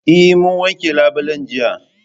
Eh mun wanke labulen jiya